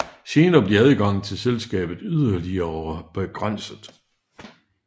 Senere blev adgangen til selskabet yderligere begrænset